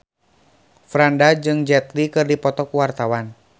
Franda jeung Jet Li keur dipoto ku wartawan